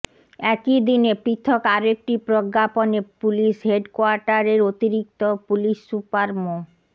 একই দিন পৃথক আরেকটি প্রজ্ঞাপনে পুলিশ হেডকোয়ার্টারের অতিরিক্ত পুলিশ সুপার মো